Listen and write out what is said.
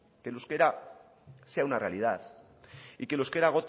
que el euskera sea una realidad y que el euskera